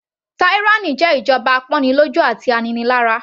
Tyranny jẹ́ ìjọba apọ́nilọ́jú àti aninilára.